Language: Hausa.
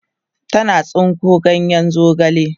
tana tsinko ganyen zogale